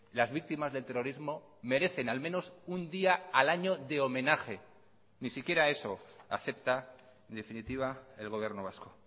las víctimas del terrorismo merecen al menos un día al año de homenaje ni siquiera eso acepta en definitiva el gobierno vasco